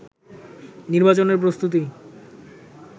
নির্বাচনের প্রস্তুতি